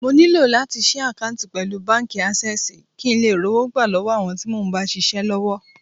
Mo nílò láti ṣí àkántì pẹ̀lú báńkì Ásẹ́sìì kín ńlè rówó gbà lọ́wọ́ àwọn tí mo ń bá ṣisẹ́ l'ọ́wọ́.